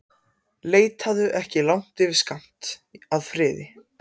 Leitaðu ekki langt yfir skammt að friði.